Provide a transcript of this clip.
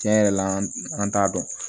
Tiɲɛ yɛrɛ la an t'a dɔn